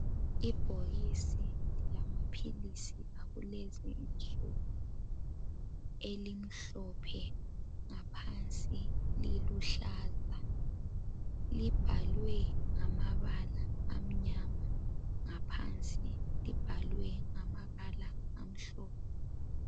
Ibhokisi lama philisi akulezi insuku elimhlophe ngaphansi liluhlaza. Libhalwe ngamabala amnyama ngaphansi libhalwe ngamabala amhlophe.